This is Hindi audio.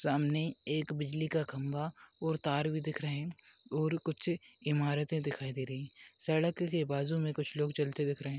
सामने एक बिजली का खम्बा और तार भी दिख रहे और कुछ इमारते दिखाई दे रही सड़क के बाजु में कुछ लोग चलते दिख रहे।